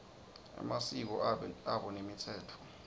emasiko abo nemitsetfo